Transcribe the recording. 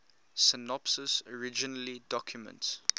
synopses originally documents